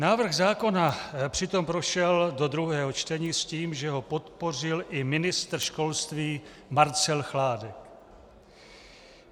Návrh zákona přitom prošel do druhého čtení s tím, že ho podpořil i ministr školství Marcel Chládek.